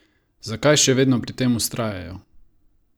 Zakaj še vedno pri tem vztrajajo?